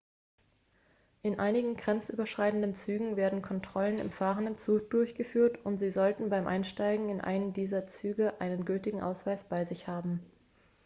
in einigen grenzüberschreitenden zügen werden kontrollen im fahrenden zug durchgeführt und sie sollten beim einsteigen in einen dieser züge einen gültigen ausweis bei sich haben